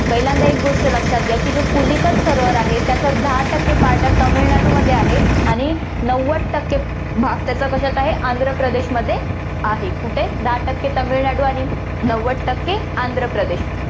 पहिल्यांदा एक गोष्ट लक्षात घ्या, की जो पुलिकत सरोवर आहे, त्याचा दहा टक्के part हा तामिळनाडूमध्ये आहे आणि नव्वद टक्के भाग त्याचा कशात आहे आंध्रप्रदेशमध्ये आहे, कुठे, दहा टक्के तामिळनाडू आणि नव्वद टक्के आंध्रप्रदेश